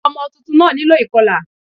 Ọmọ tuntun náà nílò ìkọlà